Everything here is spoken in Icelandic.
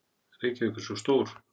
Reykjavík er svo stór.